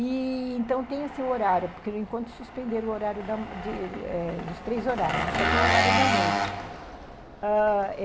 E... então tem, assim, o horário, porque no encontro suspenderam o horário dos três horários, mas só tem o horário da noite, ãh...